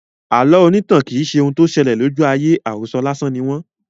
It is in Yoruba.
Àlọ́ irintan kì í ṣe ohun tí ó sele lójú aye; àròso lásán ni wọ́n.